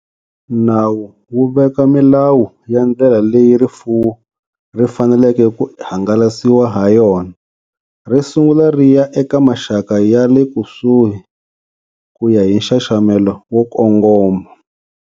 Nawu wu veka milawu ya ndlela leyi rifuwo ri faneleke ku hangalasiwa hayona. Ri sungula ri ya eka maxaka ya lekusuhi, ku ya hi nxaxamelo wo kongoma.